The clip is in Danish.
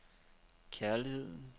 kærligheden